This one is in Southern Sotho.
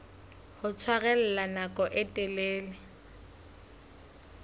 ho tshwarella nako e telele